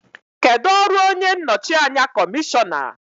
Kedu ọrụ onye nnọchi anya kọmishọna?